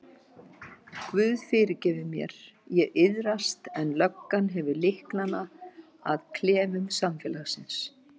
Guð fyrirgefur mér, ég iðrast en löggan hefur lyklana að klefum samfélagsins.